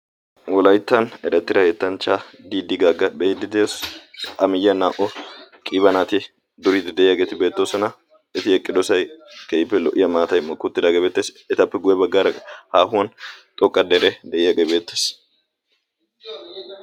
wolayttan erattira yettanchchaa didi gaaga beiddi de'o a miyyiya naa''' qiiba nati duriidi de'iyaageeti beettoosona eti eqqidosay keife lo''iya maatay mokki uttidaagee beettees etappe guye baggaara haahuwan xooqqa dere de'iyaagee beettees